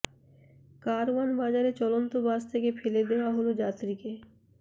কারওয়ান বাজারে চলন্ত বাস থেকে ফেলে দেয়া হলো যাত্রীকে